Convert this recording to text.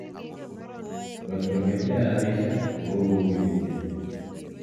Kotko metinye rapishek kokokouityin